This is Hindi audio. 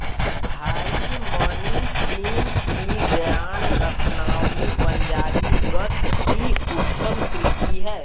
भाई मनीसिंह की ग्यान रतनावली पंजाबी गद्य की उत्तम कृति है